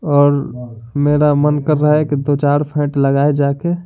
और मेरा मन कर रहा हैकि दो-चार फेंट लगाए जाके।